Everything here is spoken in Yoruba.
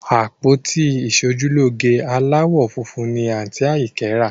Àpótí ìṣojúlóge aláwọ̀ funfun ni àǹtí Àyìnkẹ́ rà